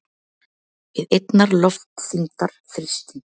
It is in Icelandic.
við einnar loftþyngdar þrýsting.